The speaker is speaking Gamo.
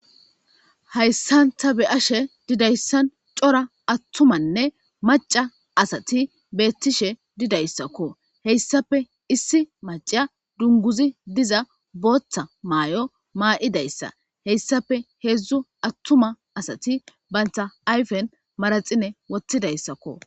Hayssan ta be'ashe diza issan cora attumanne maca asati beettishe diza issakko. He issappe issi maca dunguzi diza booththa maayo maayida issa he issape heezzu attuma asati banta ayifen manaxire wottida issakko.